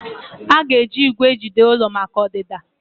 Aga eji igwè ejide ụlọ maka ọdịda?